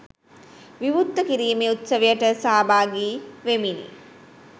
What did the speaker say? විවෘත කිරීමේ උත්සවයට සහභාගි වෙමිනි.